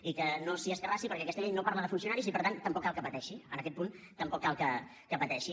i que no s’hi escarrassi perquè aquesta llei no parla de funcionaris i per tant tampoc cal que pateixi en aquest punt tampoc cal que pateixi